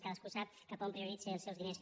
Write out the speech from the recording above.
cadascú sap cap a on prioritza els seus diners